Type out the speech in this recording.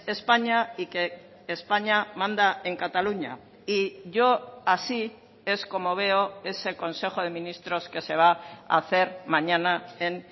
españa y que españa manda en cataluña y yo así es como veo ese consejo de ministros que se va a hacer mañana en